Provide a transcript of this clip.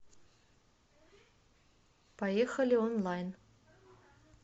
поехали онлайн